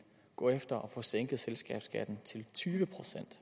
gå efter at få sænket selskabsskatten til tyve